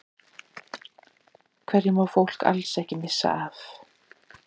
Hverju má fólk alls ekki missa af?